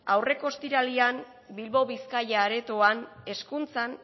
aurreko ostiralean bilbao bizkaia aretoan hezkuntzan